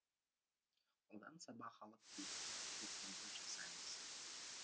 одан сабақ алып тиісті қорытынды жасаймыз